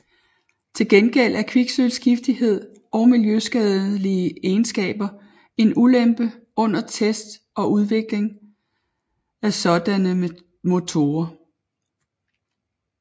Til gengæld er kviksølvs giftighed og miljøskadelige egenskaber en ulempe under test og udvikling af sådanne motorer